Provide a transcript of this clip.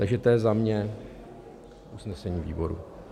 Takže to je za mě usnesení výboru.